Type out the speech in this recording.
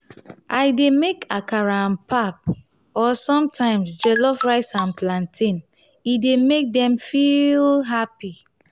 i dey make akara and pap or sometimes jollof rice and plantain e dey make dem feel happy.